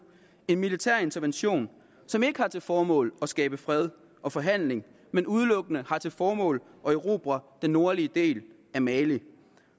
en militær intervention som ikke har til formål at skabe fred og forhandling men udelukkende har til formål at erobre den nordlige del af mali